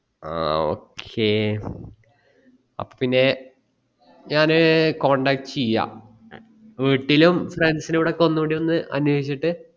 ആ okay അപ്പൊ പിന്നെ ഞാന് contact ചെയാം വീട്ടിലും friends നോടും ഒന്നൂടി ഒന്ന് അനേഷിച്ചിട്ട്